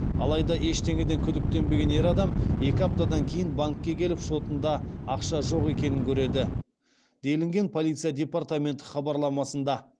алайда ештеңеден күдіктенбеген ер адам екі аптадан кейін банкке келіп шотында ақша жоқ екенін көреді делінген полиция департаменті хабарламасында